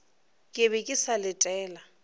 ke be ke sa letela